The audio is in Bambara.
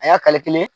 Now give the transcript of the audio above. A y'a kelen